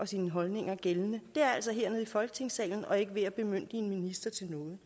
sine holdninger gældende er altså hernede i folketingssalen og ikke ved at bemyndige en minister til noget